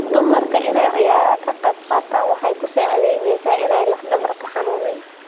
Dumarka inay ciyaraha kaqebkatan waxay kuusacidheysa in aay laf dabarka xanunin.